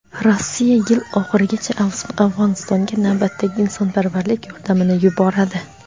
Rossiya yil oxirigacha Afg‘onistonga navbatdagi insonparvarlik yordamini yuboradi.